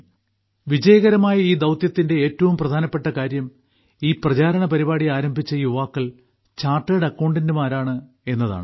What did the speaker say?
ഈ വിജയകരമായ ദൌത്യത്തിന്റെ ഏറ്റവും പ്രധാനപ്പെട്ട കാര്യം ക്യാമ്പയിൻ ആരംഭിച്ച യുവാക്കൾ ചാർട്ടേഡ് അക്കൌണ്ടന്റുമാരാണ് എന്നതാണ്